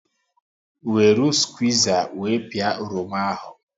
Weru squiza wee pịa oroma ahụ